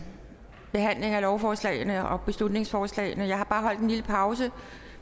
behandling af lovforslag og beslutningsforslag jeg har bare holdt en lille pause